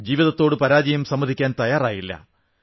ജീവതത്തോട് പരാജയം സമ്മതിക്കാൻ തയ്യാറായില്ല